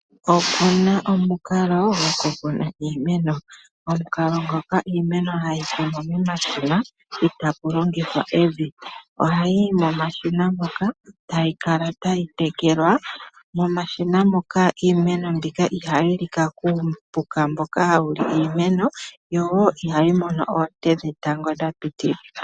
Oku na omukalo goku kuna iimeno. Omukalo ngoka iimeno hayi kunwa momashina itaa ku longithwa evi. Ohayi yi momashina moka, tayi kala tayi tekelwa. Momashina moka iimeno mbika ihayi lika kuupuka mboka hawu li iimeno, yo wo ihayi mono oonte dhetango dha pitilila.